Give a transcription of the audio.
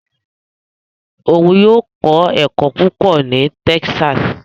Òun yóò kọ ẹkọ púpọ ní Texas